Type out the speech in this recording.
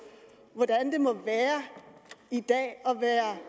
hvordan det må være i dag at være